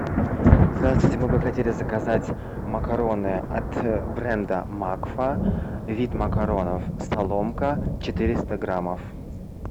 здравствуйте мы бы хотели заказать макароны от бренда макфа вид макаронов соломка четыреста граммов